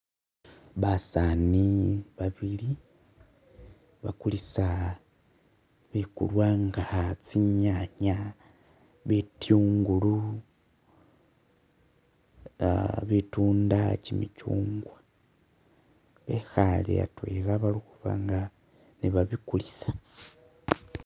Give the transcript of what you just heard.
Basani babili bakulisa bikulwa nga tsinyanya, bitungulu, ah butunda, kimintsugwa bekhale atwela balikhuba nga ni'babikulisa